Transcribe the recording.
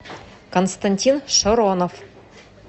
константин шоронов